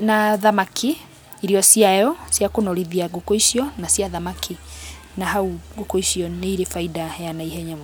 na thamaki, irio ciayo cia kũnorithia ngũkũ icio na cia thamaki na hau ngũkũ icio nĩirĩ bainda ya naihenya.